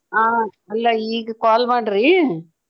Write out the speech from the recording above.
ಆ ಅಲ್ಲ ಈಗ call ಮಾಡ್ರಿ.